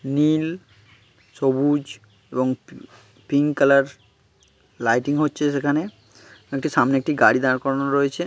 নীল সবুজ এবং pink colour lighting হচ্ছে সেখানে | একটি সামনে একটি গাড়ি দাঁড় করানো রয়েছে।